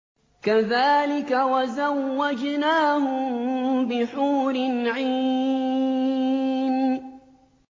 كَذَٰلِكَ وَزَوَّجْنَاهُم بِحُورٍ عِينٍ